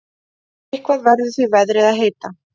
Eitthvað verður því veðrið að heita.